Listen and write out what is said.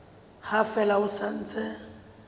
ha fela ho sa ntse